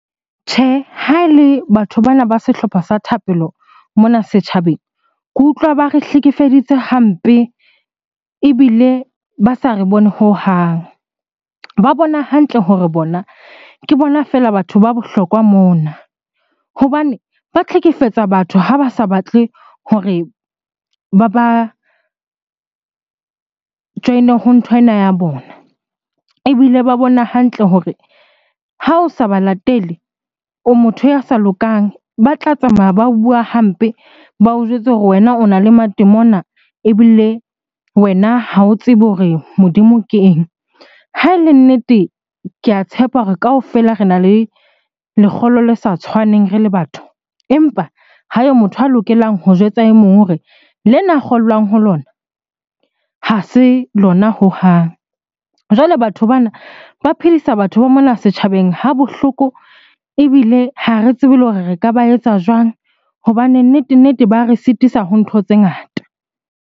Tjhe, ha e le batho bana ba sehlopha sa thapelo mona setjhabeng, ke utlwa ba re hlekefeditse hampe ebile ba sa re bone hohang. Ba bona hantle hore bona ke bona fela batho ba bohlokwa mona hobane ba hlekefetsa batho ha ba sa batle hore ba ba join-e ho nthwena ya bona. Ebile ba bona hantle hore ha o sa ba latele, o motho ya sa lokang, ba tla tsamaya ba o bua hampe. Ba o jwetse hore wena o na le matemona ebile wena ha o tsebe hore Modimo ke eng? Ha e le nnete, ke a tshepa hore kaofela rena le lekgolo le sa tshwaneng re le batho, empa ha yo motho a lokelang ho jwetsa e mong hore lena a kgollwang ho lona ha se lona hohang. Jwale batho bana ba phedisa batho ba mona setjhabeng ha bohloko ebile ha re tsebe le hore re ka ba etsa jwang? Hobane nnete-nnete ba re sitisa ho ntho tse ngata.